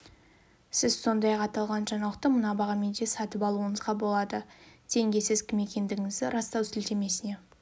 сіз сондай-ақ аталған жаңалықты мына бағамен де сатып алуыңызға болады тенге сіз кім екендігіңізді растау сілтемесіне